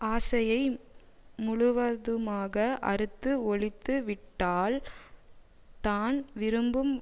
ஆசையை முழுவதுமாக அறுத்து ஒழித்து விட்டால் தான் விரும்பும்